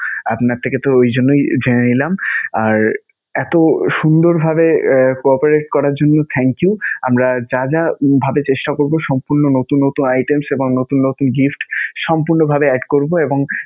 আপনার থেকে তো ওই জন্যই জেনে নিলাম আর এতো সুন্দরভাবে co-operate করার জন্য thank you. আমরা যা যা ভাবে চেষ্টা করবো সম্পূর্ণ নতুন নতুন items এবং নতুন নতুন gift সম্পূর্ণভাবে add করবো এবং